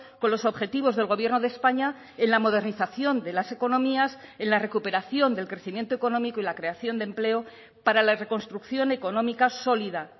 con los objetivos del gobierno de españa en la modernización de las economías en la recuperación del crecimiento económico y la creación de empleo para la reconstrucción económica sólida